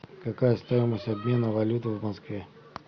какая стоимость обмена валюты в москве